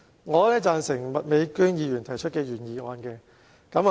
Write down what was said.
我贊成麥美娟議員提出的原議案。